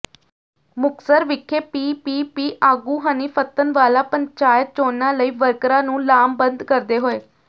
ਮੁਕਤਸਰ ਵਿਖੇ ਪੀਪੀਪੀ ਆਗੂ ਹਨੀ ਫੱਤਣਵਾਲਾ ਪੰਚਾਇਤ ਚੋਣਾਂ ਲਈ ਵਰਕਰਾਂ ਨੂੰ ਲਾਮਬੰਦ ਕਰਦੇ ਹੋਏ